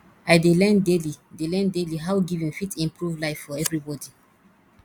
i dey learn daily dey learn daily how giving fit improve life for everybody